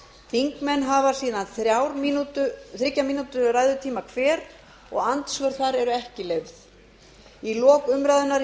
þingmenn hafa síðan þriggja mínútna ræðutíma hver og andsvör þar eru ekki leyfð í lok umræðunnar